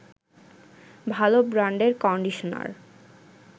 ভালো ব্রান্ডের কন্ডিশনার